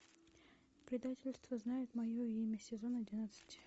предательство знает мое имя сезон одиннадцать